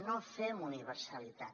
no fem universalitat